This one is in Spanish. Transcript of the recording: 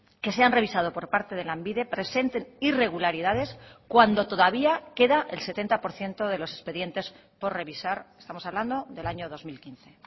que se han revisado por parte de lanbide presenten irregularidades cuando todavía queda el setenta por ciento de los expedientes por revisar estamos hablando del año dos mil quince